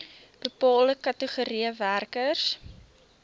bepaalde kategorieë werkers